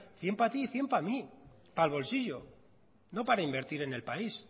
cien para ti y cien para mí para el bolsillo no para invertir en el país